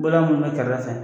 Baara mun bɛ kɛrɛfɛ